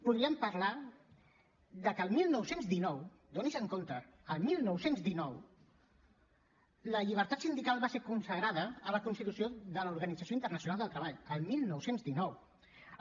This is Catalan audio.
podríem parlar que el dinou deu nou adonin se’n el dinou deu nou la llibertat sindical va ser consagrada a la constitució de l’organització internacional del treball el dinou deu nou